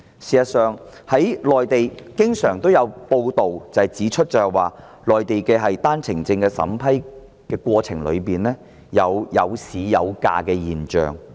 事實上，內地經常有報道指出，內地的單程證審批過程中，存在"有市有價"的現象。